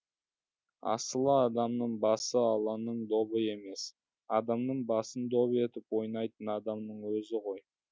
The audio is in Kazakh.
асылы адамның басы алланың добы емес адамның басын доп етіп ойнайтын адамның өзі ғой